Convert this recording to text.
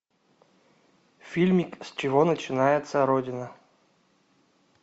фильмик с чего начинается родина